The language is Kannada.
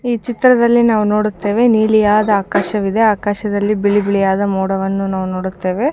ಈ ಚ್ತ್ರದಲ್ಲಿ ನಾವು ನೋಡುತ್ತೇವೆ ನೀಲಿಯಾದ ಆಕಾಶವಿದೆ ಆಕಾಶದಲ್ಲಿ ಬಿಳಿ ಬಿಳಿಯಾದ ಮೋಡವನ್ನು ನಾವು ನೋಡುತ್ತೇವೆ